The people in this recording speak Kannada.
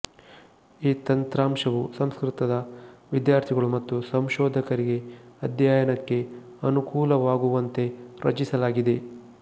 ಈ ತಂತ್ರಾಂಶವು ಸಂಸ್ಕೃತದ ವಿದ್ಯಾರ್ಥಿಗಳು ಮತ್ತು ಸಂಶೋಧಕರಿಗೆ ಅಧ್ಯಯನಕ್ಕೆ ಅನುಕೂಲವಾಗುವಂತೆ ರಚಿಸಲಾಗಿದೆ